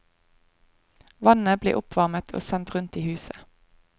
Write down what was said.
Vannet blir oppvarmet og sendt rundt i huset.